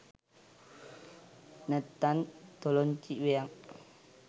නැත්තං තොලොංචි වෙයං!